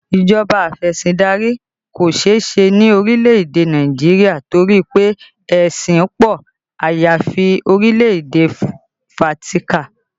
Ìjọba afesindari kò seese ni orílẹ̀ èdè Nàìjíríà torí pé ẹṣin pọ, àyàfi orílẹ̀ èdè Fátíkà